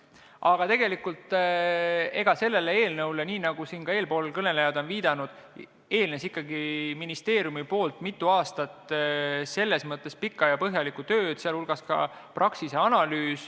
Aga tegelikult sellele eelnõule, nii nagu ka eespool kõnelejad on viidanud, eelnes ministeeriumis ikkagi mitu aastat pikka ja põhjalikku tööd, sh Praxise analüüs.